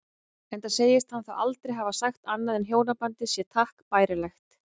Enda segist hann þá aldrei hafa sagt annað en hjónabandið sé takk bærilegt.